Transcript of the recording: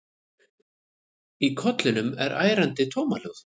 Í kollinum er ærandi tómahljóð.